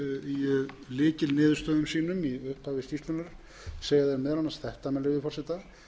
í lykilniðurstöðum sínum í upphafi skýrslunnar segja þeir meðal annars þetta með leyfi forseta